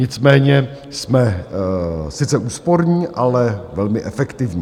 Nicméně jsme sice úsporní, ale velmi efektivní.